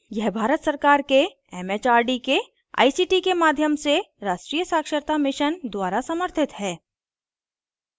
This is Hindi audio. यह भारत सरकार के एमएचआरडी के आईसीटी के माध्यम से राष्ट्रीय साक्षरता mission द्वारा समर्थित है